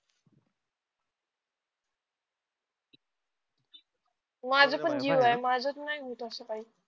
माझ पण जिओ आहे माझ त नाही होत अस काही